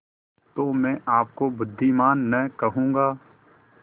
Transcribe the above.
तो मैं आपको बुद्विमान न कहूँगा